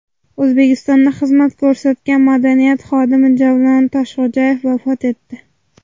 O‘zbekistonda xizmat ko‘rsatgan madaniyat xodimi Javlon Toshxo‘jayev vafot etdi.